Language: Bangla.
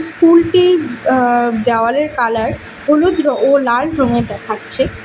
স্কুলটির আ দেওয়ালের কালার হলুদ ও লাল রঙের দেখাচ্ছে।